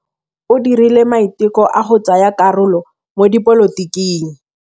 O dirile maitekô a go tsaya karolo mo dipolotiking.